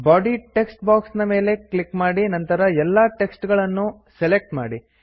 body text box ಮೇಲೆ click ಮಾಡಿ ನಂತರ ಎಲ್ಲಾ ಟೆಕ್ಸ್ಟ್ ನ್ನೂ ಸೆಲೆಕ್ಟ್ ಮಾಡಿ